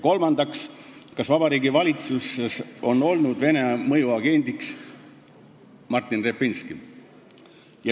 " Kolmandaks: "Kas Vabariigi Valitsuses on olnud Vene mõjuagendiks Martin Repinski?